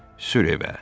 Sür evə.